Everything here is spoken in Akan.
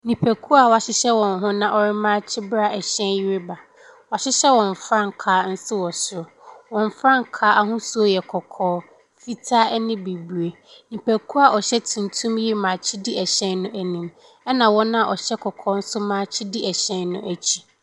Nipakuo a wɔahyehyɛ wɔn ho na wɔremaakye ba ɛhyɛn yi reba. Wɔahyehyɛ wɔn frankaa nso wɔ soro. Wɔn frankaa ahosuo yɛ kɔkɔɔ, fitaa ne bibire. Nipakuo a wɔhyɛ tuntum yi remaakye di ɛhyɛn no anim, ɛna wɔn a wɔhyɛ kɔkɔɔ nso maakye di ɛhyɛn no akyi.